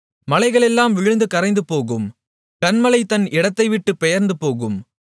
மலைகளெல்லாம் விழுந்து கரைந்துபோகும் கன்மலை தன் இடத்தைவிட்டுப் பெயர்ந்துபோகும்